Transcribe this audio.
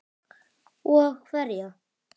Og hverja?